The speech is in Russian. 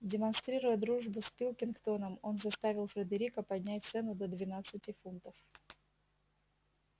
демонстрируя дружбу с пилкингтоном он заставил фредерика поднять цену до двенадцати фунтов